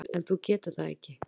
En þú getur það ekki.